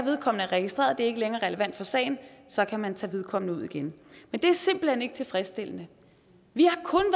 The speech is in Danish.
registreret og det ikke længere er relevant for sagen så kan man tage vedkommende ud igen men det er simpelt hen ikke tilfredsstillende vi